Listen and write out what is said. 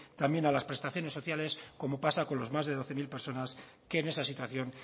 también a las prestaciones sociales como pasa con las más de doce mil personas que en esa situación